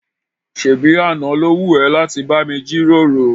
ṣébi àná ló wù ẹ́ láti bá mi jíròrò?